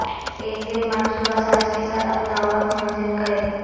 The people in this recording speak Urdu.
ایک دن منصوبہ ساز کے ساتھ اپنا وقت منظم کریں